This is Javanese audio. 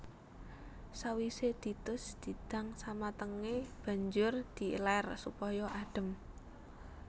Sawisé ditus didang samatengé banjur di elèr supaya adhem